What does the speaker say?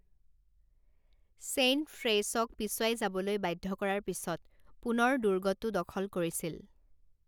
Saint ফ্ৰেইছক পিছুৱাই যাবলৈ বাধ্য কৰাৰ পিছত পুনৰ দুৰ্গটো দখল কৰিছিল।